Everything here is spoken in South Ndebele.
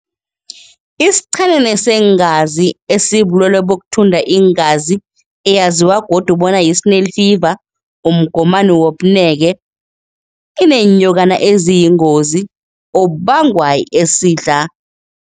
Isichenene seengazi esibulwelwe bokuthunda iingazi eyaziwa godu bona yi-snail fever umgomani womneke yibeenyokana eziyingozi obubangwa esidla.